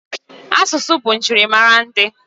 Asụsụ bụ njirimara ndị.